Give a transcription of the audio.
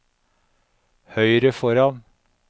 høyre foran